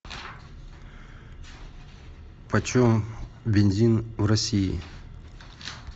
почем бензин в россии